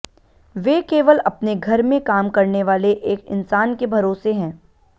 वे केवल अपने घर में काम करने वाले एक इंसान के भरोसे हैं